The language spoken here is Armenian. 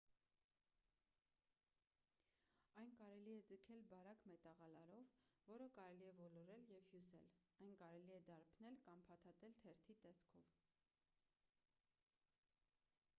այն կարելի է ձգել բարակ մետաղալարով որը կարելի է ոլորել և հյուսել այն կարելի է դարբնել կամ փաթաթել թերթի տեսքով